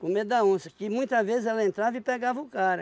Com medo da onça, que muitas vezes ela entrava e pegava o cara.